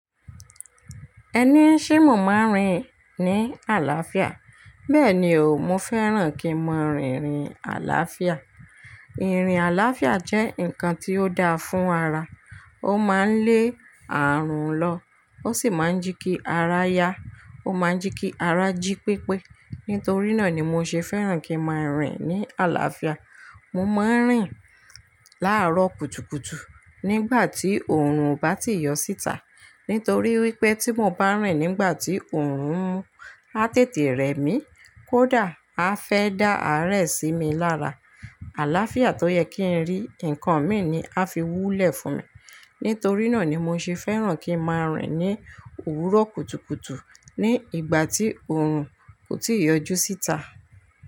Ẹni í ṣé mo máa ń rìn ní àlàáfíà. Bẹ́ẹ̀ni o, mo fẹ́ràn kí n máa rìn ìrìn àlàáfíà. Ìrìn àlàáfíà jẹ́ nǹkan tí ó dáa fún ara. Ó máa ń lé ààrùn lọ, ó sì máa ń je kí ara yá, ó máa ń je kí ara jí pépé. Nítorí náà ni mo ṣe fẹ́ràn kí n máa rìn ní àlàáfíà. Mo máa ń rìn láàárọ̀ kùtùkùtù nígbà tí òòrùn o bá ti yọ síta. Nítorí wípé tí mo bá rìn nígbà tí òòrùn mu á tètè rẹ mí, kódà a fẹ́ dá àárẹ̀ sí mi lára, àlàáfíà tó yẹ kí n rí nǹkan mí ni a fi wú lẹ̀ fun mi. Nítorí náà ni mo ṣe fẹ́ràn kí n máa rìn ní òwúrọ̀ kùtùkùtù ní ìgbà tí òòrùn kò tíì yọ jú síta.